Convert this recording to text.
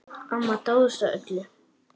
Amma dáðist að öllu.